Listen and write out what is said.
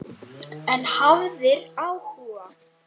En hafðir áhuga.